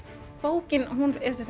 bókin er